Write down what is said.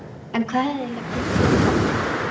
En hvað hafði eiginlega gengið á?